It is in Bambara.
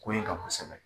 Ko in kan kosɛbɛ